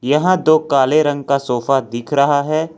यहा दो काले रंग का सोफा दिख रहा है।